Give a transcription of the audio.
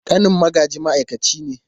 Ƙanin Magaji ma’aikaci ne.